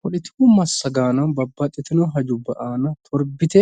Poletiku massagaano babbaxxitino hajubba aana torbite